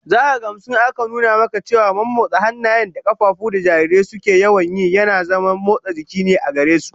Zaka gamsu in aka nuna maka cewa mommotsa hannaye da kafafu da jarirai suke yawan yi yana zaman motsa jiki ne gare su